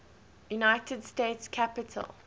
united states capitol